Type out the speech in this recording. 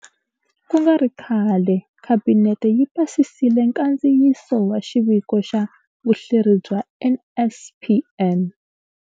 Ku nga ri khale, Khabinete yi pasisile nkandziyiso wa Xiviko xa Vuhleri bya NSNP